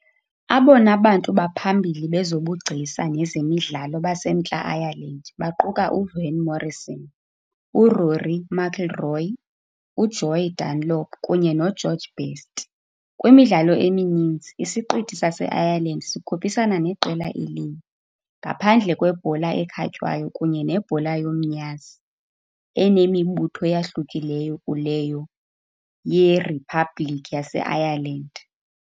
Abona bantu baphambili bezobugcisa nezemidlalo baseMntla Ireland baquka uVan Morrison, uRory McIlroy, uJoey Dunlop kunye noGeorge Best. Kwimidlalo emininzi, isiqithi saseIreland sikhuphisana neqela elinye, ngaphandle kwebhola ekhatywayo kunye nebhola yomnyazi, enemibutho eyahlukileyo kuleyo yeRiphabhliki yaseIreland.